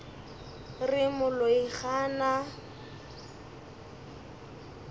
re moloi ga a na